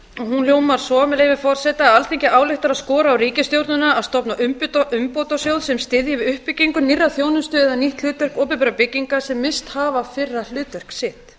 hún hljómar svo með leyfi forseta alþingi ályktar að skora á ríkisstjórnina að stofna umbótasjóð sem styðji við uppbyggingu nýrrar þjónustu eða nýtt hlutverk opinberra bygginga sem misst hafa fyrra hlutverk sitt